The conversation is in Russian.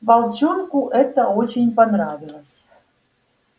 волчонку это очень понравилось